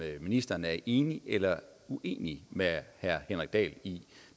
ministeren er enig eller uenig med herre henrik dahl i